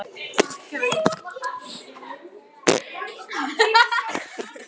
Brói, stilltu tímamælinn á tuttugu og eina mínútur.